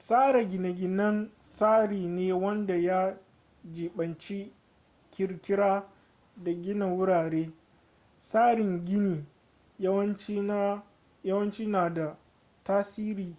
tsara gine-ginen tsari ne wanda ya jibanci kirkira da gina wurare tsarin gini yawanci na da tasiri